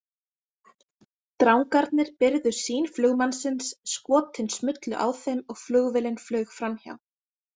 Drangarnir byrgðu sýn flugmannsins, skotin smullu á þeim og flugvélin flaug framhjá.